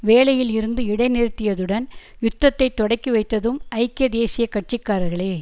வேலையில் இருந்து இடை நிறுத்தியதுடன் யுத்தத்தை தொடக்கிவைத்ததும் ஐக்கிய தேசிய கட்சிக்காரர்களே